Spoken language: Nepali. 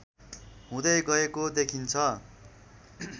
हुँदै गएको देखिन्छ